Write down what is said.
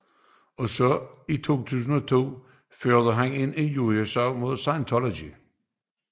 Også i 2002 førte han en injuriesag mod Scientology